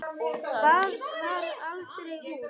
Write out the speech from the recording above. Það varð aldrei úr.